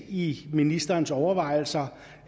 i ministerens overvejelser